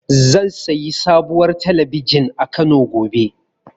Zan sayi sabuwar talabijin a Kano, gobe.